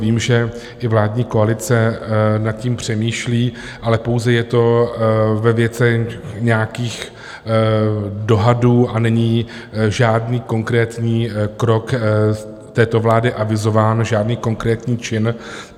Vím, že i vládní koalice nad tím přemýšlí, ale pouze je to ve věcech nějakých dohadů a není žádný konkrétní krok této vlády avizován, žádný konkrétní čin.